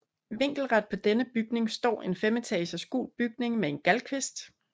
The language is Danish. Vinkelret på denne bygning står en femetages gul bygning med en gavlkvist